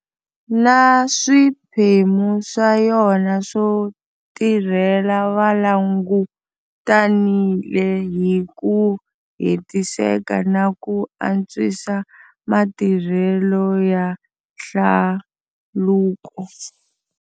Na swiphemu swa yona swo tirhela va langutanile hi ku hetiseka na ku antwisa matirhelo ya hlaluko.